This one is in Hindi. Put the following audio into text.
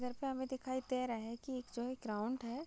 घर पे हमे दिखाई दे रहा है की यह एक जो है ग्रॉउंड है।